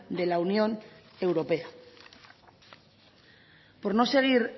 de la unión europea por no seguir